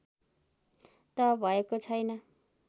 त भएको छैन